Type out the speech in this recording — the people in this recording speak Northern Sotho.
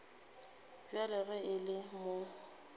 bjale ge e le mo